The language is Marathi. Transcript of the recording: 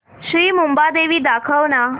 श्री मुंबादेवी दाखव ना